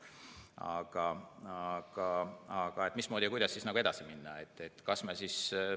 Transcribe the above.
Aga mismoodi ja kuidas edasi minna?